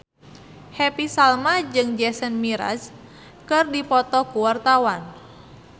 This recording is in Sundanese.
Happy Salma jeung Jason Mraz keur dipoto ku wartawan